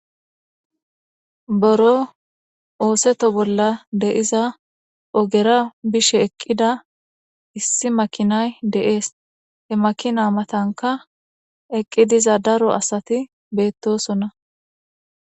boro ooseto bolla deiza ogera bishe eqqida issi makinay de7ees he makina matanka eqqi diza daro asati beettosonna